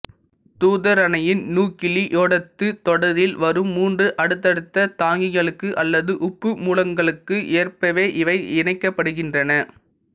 தூதாறனையின் நியூக்கிளியோடட்டுத் தொடரில் வரும் மூன்று அடுத்தடுத்த தாங்கிகளுக்கு அல்லது உப்புமூலங்களுக்கு ஏற்பவே இவை இணைக்கப்படுகின்றன